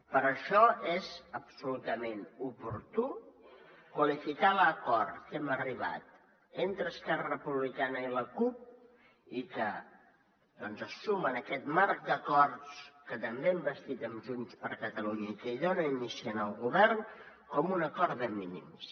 per això és absolutament oportú qualificar l’acord a què hem arribat entre esquerra republicana i la cup i que doncs es suma en aquest marc d’acords que també hem bastit amb junts per catalunya i que hi dona inici en el govern com un acord de mínims